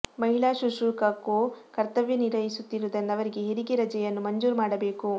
ಮಹಿಳಾ ಶುಶ್ರೂಷಕಕು ಕರ್ತವ್ಯ ನಿರ್ವಹಿಸುತ್ತಿರುವುದರಿಂದ ಅವರಿಗೆ ಹೆರಿಗೆ ರಜೆಯನ್ನು ಮಂಜೂರು ಮಾಡಬೇಕು